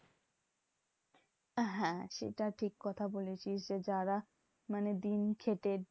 হ্যাঁ সেটা ঠিক কথা বলেছিস যে, যারা মানে দিন খেটে